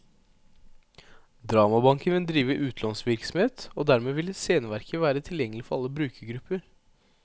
Dramabanken vil drive utlånsvirksomhet, og dermed vil sceneverker være tilgjengelige for alle brukergrupper.